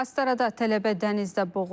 Astarada tələbə dənizdə boğulub.